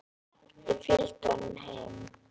Ég fylgdi honum heim.